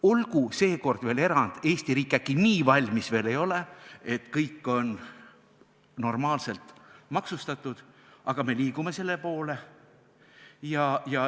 Olgu seekord veel erand, Eesti riik äkki nii valmis veel ei ole, et kõik on normaalselt maksustatud, aga me liigume selle poole.